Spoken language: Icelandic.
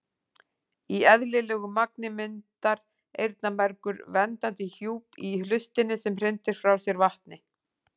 Í eðlilegu magni myndar eyrnamergur verndandi hjúp í hlustinni sem hrindir frá sér vatni.